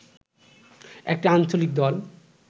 একটি আঞ্চলিক দল